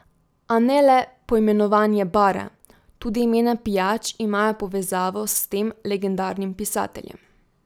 A ne le poimenovanje bara, tudi imena pijač imajo povezavo s tem legendarnim pisateljem.